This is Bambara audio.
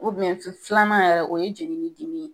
filanan yɛrɛ, o ye jeli ni dimi ye.